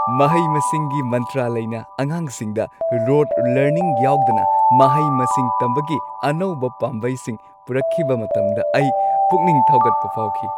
ꯃꯍꯩ-ꯃꯁꯤꯡꯒꯤ ꯃꯟꯇ꯭ꯔꯥꯂꯩꯅ ꯑꯉꯥꯡꯁꯤꯡꯗ rote learning ꯌꯥꯎꯗꯅ ꯃꯍꯩ-ꯃꯁꯤꯡ ꯇꯝꯕꯒꯤ ꯑꯅꯧꯕ ꯄꯥꯝꯕꯩꯁꯤꯡ ꯄꯨꯔꯛꯈꯤꯕ ꯃꯇꯝꯗ ꯑꯩ ꯄꯨꯛꯅꯤꯡ ꯊꯧꯒꯠꯄ ꯐꯥꯎꯈꯤ ꯫